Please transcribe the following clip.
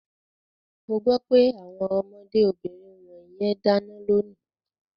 Mo gbọ́ pé àwọn ọmọdé obìnrin wọ̀nyẹn dáná lónìí.